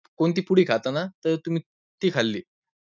कोणती पुडी खाताना, तर तुम्ही ती खाल्ली.